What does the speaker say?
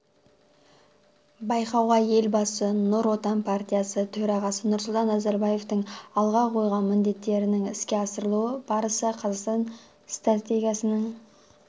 байқауға елбасы нұр отан партиясы төрағасы нұрсұлтан назарбаевтың алға қойған міндеттерінің іске асырылу барысы қазақстан стратегиясының